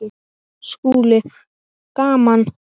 SKÚLI: Gaman!